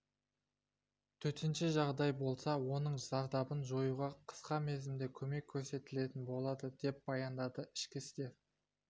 төтенше жағдай болса оның зардабын жоюға қысқа мерзімде көмек көрсетілетін болады деп баяндады ішкі істер